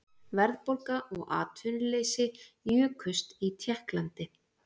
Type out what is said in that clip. Verðbólga og atvinnuleysi jukust í Tékklandi